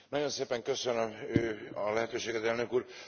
Nagyon szépen köszönöm a lehetőséget, Elnök Úr!